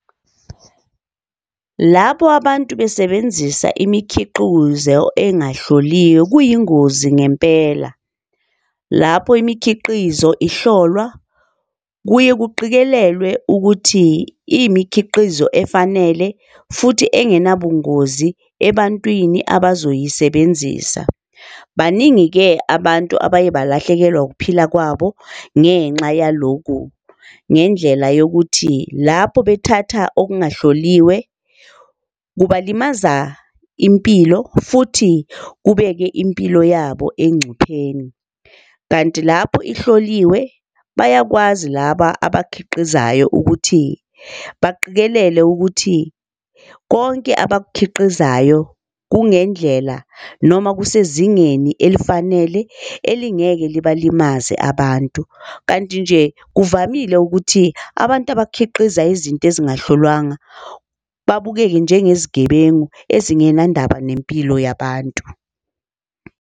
Lapho abantu besebenzisa imikhiqizo engahloliwe kuyingozi ngempela, lapho imikhiqizo ihlolwa kuye kuqikelelwe ukuthi iyimikhiqizo efanele futhi engenabungozi ebantwini abazoyisebenzisa. Baningi-ke abantu abaye balahlekelwa ukuphila kwabo ngenxa yaloku, ngendlela yokuthi lapho bethatha okungahleliwe kubalimaza impilo futhi kubeke impilo yabo engcupheni. Kanti lapho ihloliwe, bayakwazi laba abakhiqizayo ukuthi baqikelele ukuthi konke abakukhiqizayo kungendlela noma kusezingeni elifanele elingeke libalimaze abantu. Kanti nje kuvamile ukuthi abantu abakhiqiza izinto ezingahlolwanga babukeke njengezigebengu ezingenandaba nempilo yabantu.